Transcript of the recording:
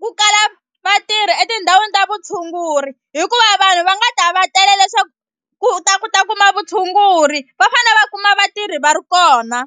ku kala vatirhi etindhawini ta vutshunguri hikuva vanhu va nga ta va tela leswaku ku ta ku ta kuma vutshunguri va fane va kuma vatirhi va ri kona.